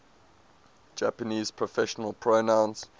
japanese personal pronouns